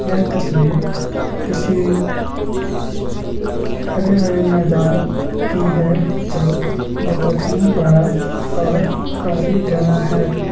यह तस्वीर किसी हरे-भरे मैदान की हैं जो बहुत ही बड़ा और काफी घना हैं।